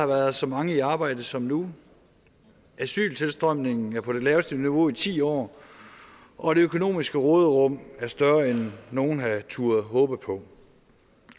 været så mange i arbejde som nu asyltilstrømningen er på det laveste niveau i ti år og det økonomiske råderum er større end nogen havde turdet håbe på